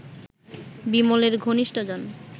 বিমলের ঘনিষ্ঠজন